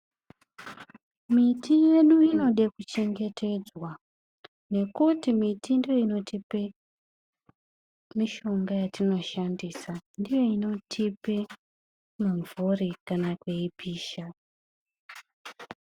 Miti yedu inode kuchengetedzwa nekuti miti ndiyo inotipe mishonga yatinoshandisa. Ndiyo inotipe mimvuri kana kweipisha.